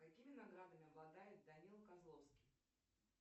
какими наградами обладает данила козловский